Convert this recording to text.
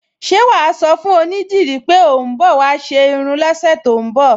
Ṣé wà á sọ fún onídìrí pé ò ń bọ̀ wá ṣe irun lọ́sẹ̀ tó ń bọ̀?